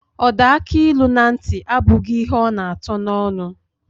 Ọda akilu na ntị, abụghị ihe ọ na atọ n'ọnụ.